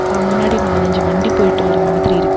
அ முன்னாடி நாலஞ்சு வண்டி போயிட்டு வர மாதிரி இருக்கு.